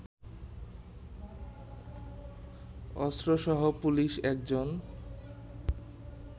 অস্ত্রসহ police একজন